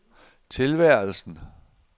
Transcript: tilværelsen